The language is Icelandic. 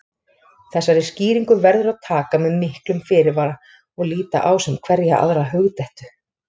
Þessari skýringu verður að taka með miklum fyrirvara og líta á sem hverja aðra hugdettu.